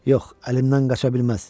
Yox, əlimdən qaça bilməz!